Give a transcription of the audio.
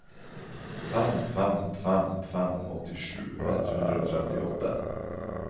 fem fem fem fem åttisju ett hundre og trettiåtte